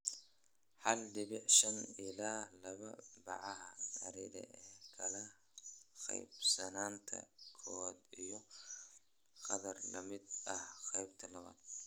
hal dibic shan ila laba bacaha / acre ee kala qaybsanaanta koowaad iyo qadar la mid ah qaybta labaad."